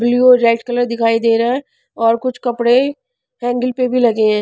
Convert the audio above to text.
Blue और red colour दिखाई दे रहा है और कुछ कपड़े एंगल पर भी लगे हैं.